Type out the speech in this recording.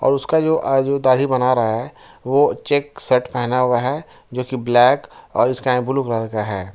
और उसका जो अह जो दाढ़ी बना रहा है वो चेक शर्ट पहना हुआ है जो कि ब्लैक और स्काई ब्लू कलर का है।